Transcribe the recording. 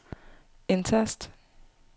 indtast